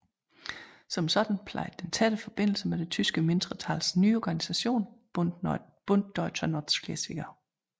Som sådan plejede den tætte forbindelser til det tyske mindretals nye organisation Bund Deutscher Nordschleswiger